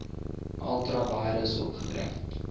ultra vires opgetree